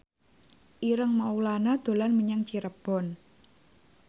Ireng Maulana dolan menyang Cirebon